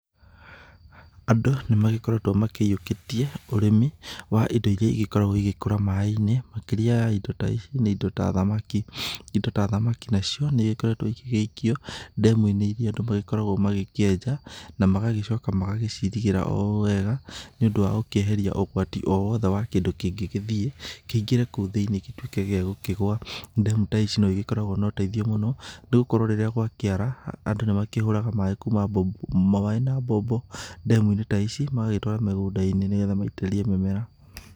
Andũ nĩ magĩkoretwo makĩiyũkĩtie ũrĩmi wa indo iria igĩkoragwo igĩkũra maaĩ-inĩ iria nĩ indo ta thamaki. Indo ta thamaki nacio nĩ ĩgĩkoretwo igĩgĩikio ndemu-inĩ iria andũ magĩkoragwo magĩkĩenja. Na magagĩcoka magacirigĩra o ũũ wega nĩ ũndũ wa gũkĩeheria ũgwati o wothe wa kĩndũ kĩngĩ gĩthiĩ kĩingĩre kũu thĩinĩ gĩtuĩke gĩa gũkĩgwa. Ndemu ta ici no igĩkoragwo na ũteithio mũno, nĩ gũkorwo rĩrĩa gwakĩara andũ nĩ makĩhũraga maaĩ na mbombo kuma ndemu-inĩ ici magagĩtwara mĩgũnda-inĩ nĩ getha maitĩririe mĩmera.